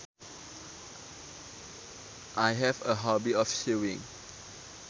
I have a hobby of sewing